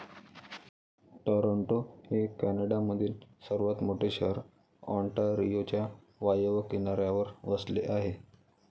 Toronto हे कॅनडामधील सर्वात मोठे शहर ऑन्टारियोच्या वायव्य किनाऱ्यावर वसले आहे.